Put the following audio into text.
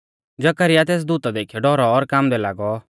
जकरयाह तेस दूता देखीयौ डौरौ और कांबदै लागौ